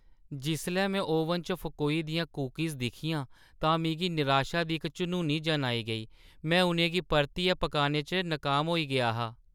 जिसलै में ओवन च फकोई दियां कुकीज़ दिक्खियां तां मिगी निराशा दी इक झनूनी जन आई गेई। में उʼनें गी परतियै पकाने च नकाम होई गेआ हा।